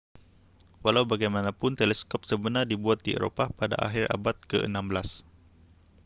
walau bagaimanapun teleskop sebenar dibuat di eropah pada akhir abad ke-16